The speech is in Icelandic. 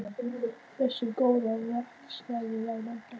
Veistu um góðan veitingastað í London?